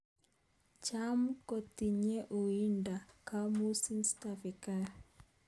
Cham kotinye uindo kobuusi Tsavingrai